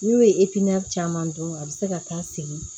N'u ye caman dɔn a bɛ se ka taa segin